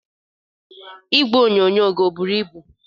Igwe onyonyo gị ọ buru ibu?